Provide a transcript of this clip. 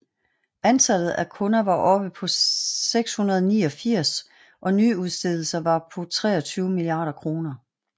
Antallet af kunder var oppe på 689 og nyudstedelser var på 23 milliarder kroner